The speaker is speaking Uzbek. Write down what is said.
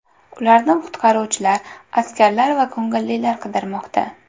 Ularni qutqaruvchilar, askarlar va ko‘ngillilar qidirmoqda.